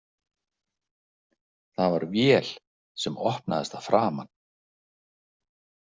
Það var vél sem opnaðist að framan.